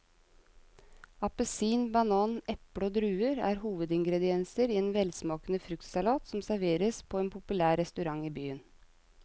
Appelsin, banan, eple og druer er hovedingredienser i en velsmakende fruktsalat som serveres på en populær restaurant i byen.